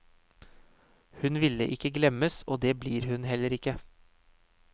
Hun ville ikke glemmes, og det blir hun heller ikke.